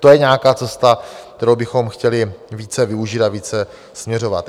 To je nějaká cesta, kterou bychom chtěli více využít a více směřovat.